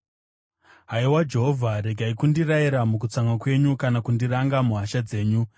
Haiwa Jehovha, regai kundirayira mukutsamwa kwenyu, kana kundiranga muhasha dzenyu.